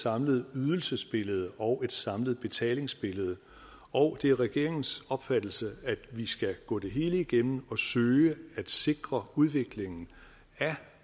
samlet ydelsesbillede og et samlet betalingsbillede og det er regeringens opfattelse at vi skal gå det hele igennem og søge at sikre udviklingen af